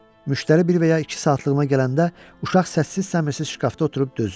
Müştəri bir və ya iki saatlığına gələndə uşaq səssiz səmirsiz şkafda oturub dözür.